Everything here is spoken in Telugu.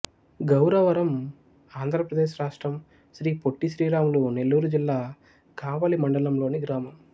గౌరవరం ఆంధ్ర ప్రదేశ్ రాష్ట్రం శ్రీ పొట్టి శ్రీరాములు నెల్లూరు జిల్లా కావలి మండలం లోని గ్రామం